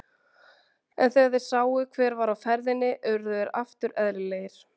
En þegar þeir sáu hver var á ferðinni urðu þeir aftur eðlilegir.